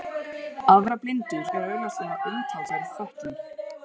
Að vera blindur er augljóslega umtalsverð fötlun.